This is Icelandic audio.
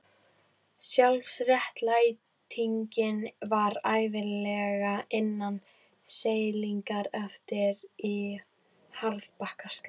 Sjálfsréttlætingin var ævinlega innan seilingar ef í harðbakka sló.